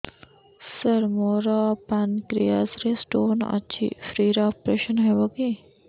ସାର ମୋର ପାନକ୍ରିଆସ ରେ ସ୍ଟୋନ ଅଛି ଫ୍ରି ରେ ଅପେରସନ ହେବ କି